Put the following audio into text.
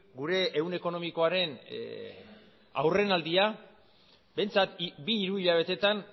gure ehun ekonomikoaren aurrenaldia behintzat bi hiru hilabetetan